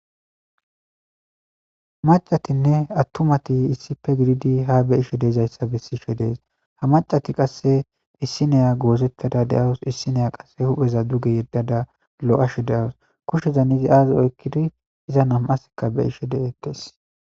Macatinne attumati issippe gididi ha be'ishe dizayssa bessishe de'es. Ha macati qasse issineya goozettada de'awus. Issineya qasse hupheza duge yeddada lo'ashe de'awus. Kushshezan izi aazi oykkidi iza nam'atikka be'ishe de'etes.